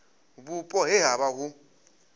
vhupo he ha vha hu